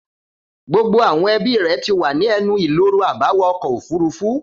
Gbogbo àwọn ẹbí rẹ̀ ti wà ní ẹnu-ìloro àbáwọ ọkọ̀ òfurufú.